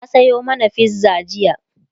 ta Sayo mana fizza jiya